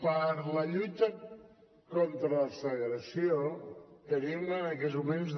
per la lluita contra la segregació tenim en aquests moments